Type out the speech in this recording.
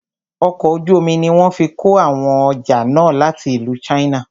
Ọkọ̀ ojú omi ní wọ́n fí kó àwọn ọjà náà láti ìlú china.